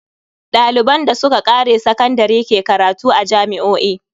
Daliban da suka kare sakandare ke karatu a jami'o'i.